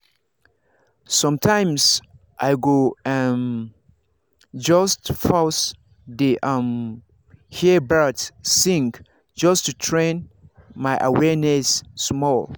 sometimes i go um just pause dey um hear birds sing just to train my awareness small.